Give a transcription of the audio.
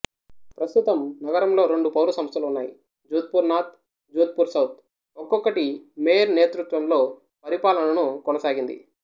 ప్రస్తుతం నగరంలో రెండు పౌర సంస్థలు ఉన్నాయి జోధ్పూర్ నార్త్ జోధ్పూర్ సౌత్ ఒక్కొక్కటి మేయర్ నేతృత్వంలో పరిపాలనను కొనసాగింది